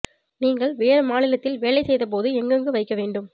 நீங்கள் வேறு மாநிலத்தில் வேலை செய்தபோது எங்கு எங்கு வைக்க வேண்டும்